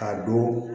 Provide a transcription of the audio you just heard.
Ka don